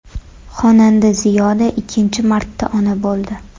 Xonanda Ziyoda ikkinchi marta ona bo‘ldi.